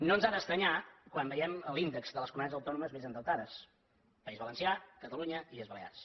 no ens ha d’estranyar quan veiem l’índex de les comunitats autònomes més endeutades país valencià catalunya illes balears